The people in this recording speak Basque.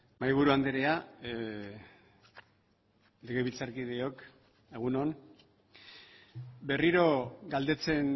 mahaiburu andrea legebiltzarkideok egun on berriro galdetzen